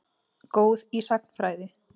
Góð í sagnfræði.